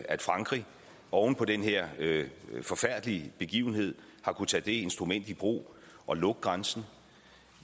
at frankrig oven på den her forfærdelige begivenhed har kunnet tage det instrument i brug at lukke grænsen